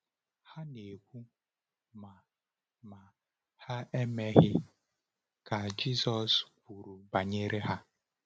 “Ha na-ekwu, ma ma ha emeghị,” ka Jisọs kwuru banyere ha.